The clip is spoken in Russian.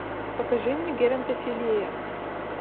покажи мне геронтофилия